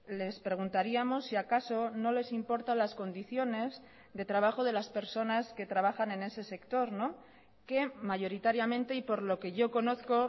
les preguntaríamos si acaso no les importa las condiciones de trabajo de las personas que trabajan en ese sector que mayoritariamente y por lo que yo conozco